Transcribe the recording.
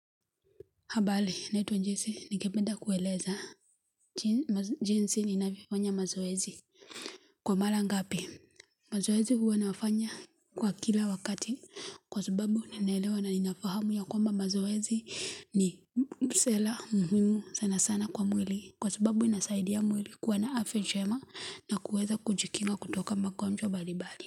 Habari naitwa Jesi ningependa kueleza jinsi ninavyofanya mazoezi, kwa mara ngapi mazoezi huwa nafanya kwa kila wakati kwa subabu ninaelewa na ninafahamu ya kwamba mazoezi ni muhimu sanasana kwa mwili kwa subabu inasaidia mwili kuwa na afya njema na kuweza kujikinga kutoka magonjwa mbalimbali.